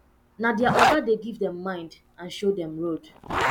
na their oga dey give dem mind and show dem road